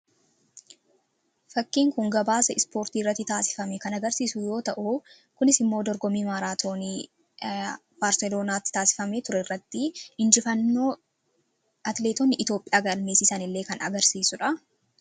Fakkiin kun gabaasa ispoortii irratti taasifame kan agarsiisu yoo ta'u kunis immoo dorgomii maraatooni baarselonaatti taasifamaa ture irratti injifannoo atileetonni iItoophiyaa galmeesiisan illee kan agarsiisudha.